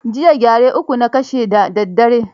Jiya gyare uku na kashe da daddare.